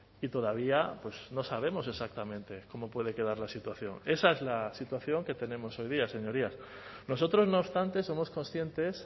y todavía no sabemos exactamente cómo puede quedar la situación esa es la situación que tenemos hoy día señorías nosotros no obstante somos conscientes